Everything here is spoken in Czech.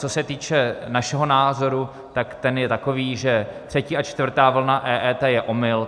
Co se týče našeho názoru, tak ten je takový, že třetí a čtvrtá vlna EET je omyl.